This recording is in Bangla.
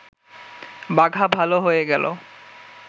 বাঘা ভাল হয়ে গেল